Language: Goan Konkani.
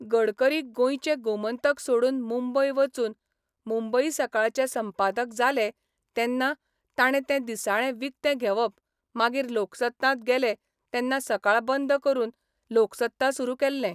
गडकरी गोंयचे गोमंतक सोडून मुंबय वचून मुंबई सकाळाचे संपादक जाले तेन्ना ताणे तें दिसाळें विकतें घेवप मागीर लोकसत्तांत गेले तेन्ना सकाळ बंद करून लोकसत्ता सुरू केल्लें.